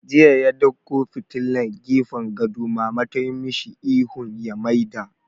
Jiya ya ɗauko fitilan gefen gado, Mama tayi mashi ihun ya maida!